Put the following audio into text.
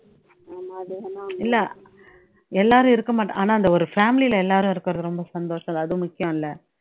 இல்லை எல்லாரும் இருக்கமாட்ட ஆனா அந்த ஒரு family லே எல்லாரும் இருக்குறது ரொம்ப சந்தோஷம் அது முக்கியம்ல